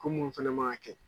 Ko mun fana maa kɛ